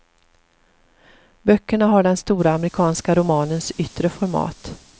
Böckerna har den stora amerikanska romanens yttre format.